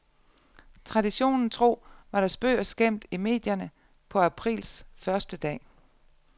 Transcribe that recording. Traditionen tro var der spøg og skæmt i medierne på aprils første dag.